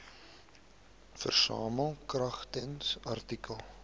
versamel kragtens artikel